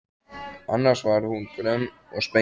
Annars var hún grönn og spengileg.